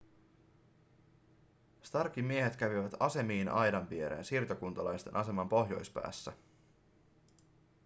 starkin miehet kävivät asemiin aidan viereen siirtokuntalaisten aseman pohjoispäässä